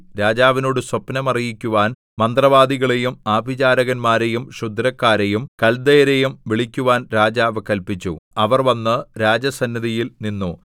രാജാവിനോട് സ്വപ്നം അറിയിക്കുവാൻ മന്ത്രവാദികളെയും ആഭിചാരകന്മാരെയും ക്ഷുദ്രക്കാരെയും കല്ദയരെയും വിളിക്കുവാൻ രാജാവ് കല്പിച്ചു അവർ വന്ന് രാജസന്നിധിയിൽ നിന്നു